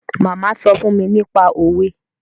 Màmá sọ fún mi nípa òwe